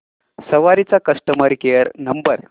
सवारी चा customer care number